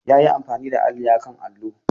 Ya yi amfani da alli a kan allo.